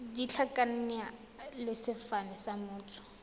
ditlhakaina le sefane sa motho